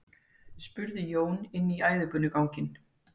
spurði Jón inn í æðibunuganginn.